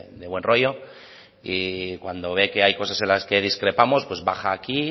de buen rollo y cuando ve que hay cosas en las que discrepamos pues baja aquí